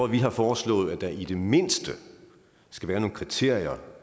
vi har foreslået at der i det mindste skal være nogle kriterier